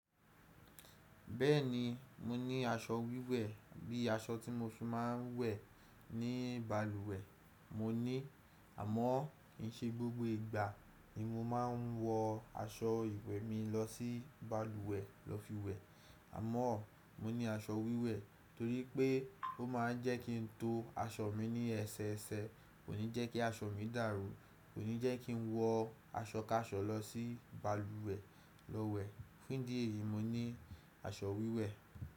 Bẹ́ẹ̀ni mo ní aṣọ wíwẹ̀ bí i aṣọ tí mo fi máa ń wẹ̀ ní balùwẹ̀ mo ní àmọ́ kì í ṣe gbogbo ìgbà ni mo máa ń wọ aṣọ ìwẹ̀ mi lọ sí balùwẹ̀ lọ fi wẹ̀. Àmọ́ mo ní aṣọ wíwẹ̀ torí pé ó máa ń jẹ́ kí ń to aṣọ mi ní ẹsẹ ẹsẹ, kò ní jẹ́ kí aṣọ mi dàrú, kò ní jẹ́ kí ń wọ aṣọ káṣọ lọ sí balùwẹ̀ lọ wẹ̀. Ní dí ẹ̀ yìí mo ní aṣọ wíwẹ̀.